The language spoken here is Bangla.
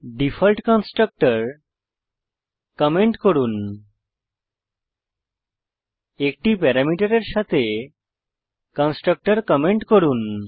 ডিফল্ট কনস্ট্রাক্টর কমেন্ট করুন 1টি প্যারামিটারের সাথে কনস্ট্রাক্টর কমেন্ট করুন